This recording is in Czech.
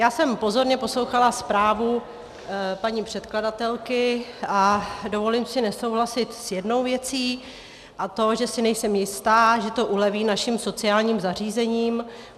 Já jsem pozorně poslouchala zprávu paní předkladatelky a dovolím si nesouhlasit s jednou věcí, a to, že si nejsem jista, že to uleví našim sociálním zařízením.